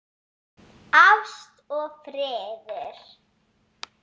Ást og friður.